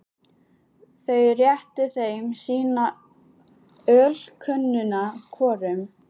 Þau réttu þeim sína ölkönnuna hvorum.